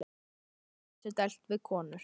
Gerði hann sér dælt við konur?